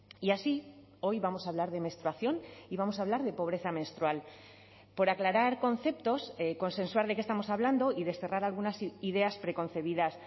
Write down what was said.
y así hoy vamos a hablar de menstruación y vamos a hablar de pobreza menstrual por aclarar conceptos consensuar de qué estamos hablando y desterrar algunas ideas preconcebidas